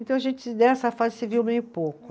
Então a gente nessa fase se viu bem pouco.